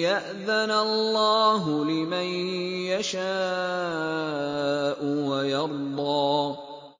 يَأْذَنَ اللَّهُ لِمَن يَشَاءُ وَيَرْضَىٰ